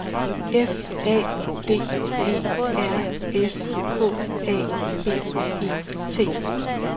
F A D E R S K A B E T